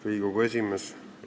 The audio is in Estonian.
Riigikogu esimees!